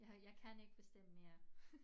Jeg har jeg kan ikke bestemme mere